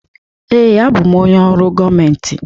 Ee, abụ m onye ọrụ gọọmentị.